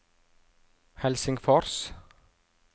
Helsingfors